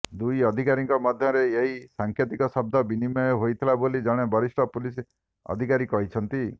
ଦୁଇ ଅଧିକାରୀଙ୍କ ମଧ୍ୟରେ ଏହି ସାଙ୍କେତିକ ଶବ୍ଦ ବିନିମୟ ହୋଇଥିଲା ବୋଲି ଜଣେ ବରିଷ୍ଠ ପୁଲିସ ଅଧିକାରୀ କହିଛନ୍ତି